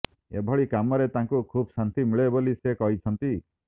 ଏଭଳି କାମରେ ତାଙ୍କୁ ଖୁବ୍ ଶାନ୍ତି ମିଳେ ବୋଲି ସେ କହିଛନ୍ତି